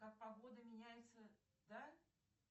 как погода меняется да